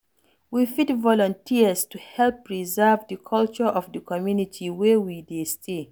We fit volunteers to help preserve di culture of di community wey we dey stay